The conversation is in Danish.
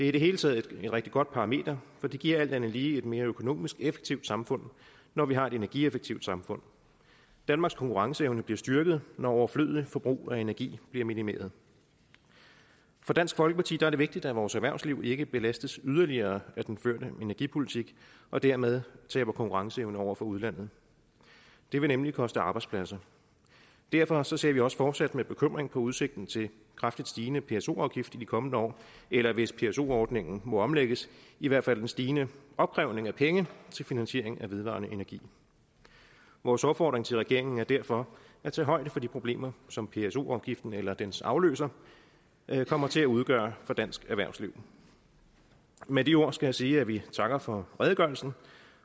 i det hele taget et rigtig godt parameter for det giver alt andet lige et mere økonomisk effektivt samfund når vi har et energieffektivt samfund danmarks konkurrenceevne bliver styrket når overflødigt forbrug af energi bliver minimeret for dansk folkeparti er det vigtigt at vores erhvervsliv ikke belastes yderligere af den førte energipolitik og dermed taber konkurrenceevne over for udlandet det vil nemlig koste arbejdspladser derfor ser vi også fortsat med bekymring på udsigten til kraftigt stigende pso afgift i de kommende år eller hvis pso ordningen må omlægges i hvert fald en stigende opkrævning af penge til finansiering af vedvarende energi vores opfordring til regeringen er derfor at tage højde for de problemer som pso afgiften eller dens afløser kommer til at udgøre for dansk erhvervsliv med de ord skal jeg sige at vi takker for redegørelsen